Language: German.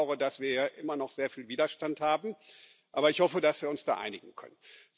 Ich bedaure, dass wir hier immer noch sehr viel Widerstand haben, aber ich hoffe, dass wir uns da einigen können.